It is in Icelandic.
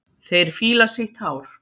Þeir fíla sítt hár.